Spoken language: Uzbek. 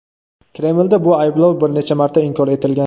Kremlda bu ayblov bir necha marta inkor etilgan.